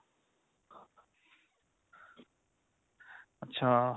ਅੱਛਾ